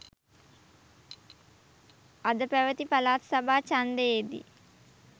අද පැවති පළාත් සභා ඡන්දයේ දී